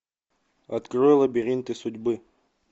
открой лабиринты судьбы